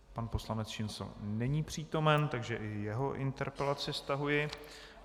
Pan poslanec Šincl není přítomen, takže i jeho interpelaci stahuji.